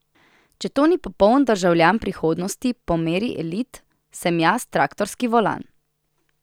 Če to ni popoln državljan prihodnosti po meri elit, sem jaz traktorski volan.